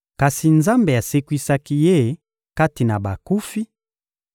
Kasi Nzambe asekwisaki Ye kati na bakufi,